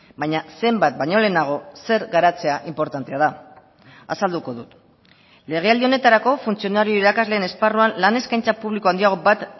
baina zenbat baino lehenago zer garatzea inportantea da azalduko dut legealdi honetarako funtzionario irakasleen esparruan lan eskaintza publiko handiago bat